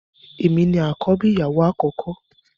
Èmi ní akọbi ìyàwó akọkọ.